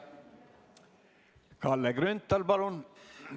Kalle Grünthal, palun!